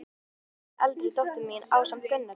Sömuleiðis gisti Kristín eldri dóttir mín ásamt Gunnari